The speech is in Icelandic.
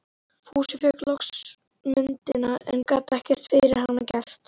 Fúsi fékk loks myndina, en gat ekkert fyrir hana gert.